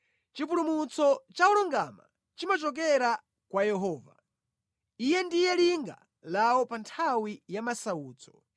Chipulumutso cha olungama chimachokera kwa Yehova; Iye ndiye linga lawo pa nthawi ya masautso.